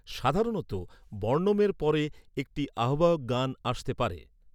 সাধারণত বর্ণমের পরে একটি আহ্বায়ক গান আসতে পারে।